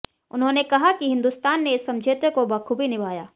उन्होंने कहा कि हिंदुस्तान ने इस समझौते को बखूबी निभाया